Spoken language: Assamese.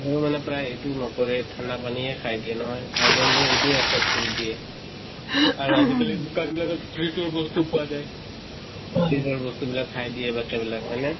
মানে প্ৰায়ে এইটো নকৰে, ঠান্দা পানীয়ে খাই দিয়ে নহয়, এইটো affect কৰি দিয়ে। আৰু আজি কালি দোকানত বিলাকত fridge ৰ বস্তু পোৱা যায়। fridge ৰ বস্তু বিলাক খাই দিয়ে বাচ্ছা বিলাক, হয় নে?